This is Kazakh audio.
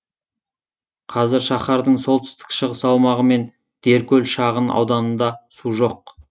қазір шаһардың солтүстік шығыс аумағы мен деркөл шағын ауданында су жоқ